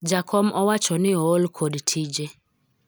jakom owacho ni ool kod tije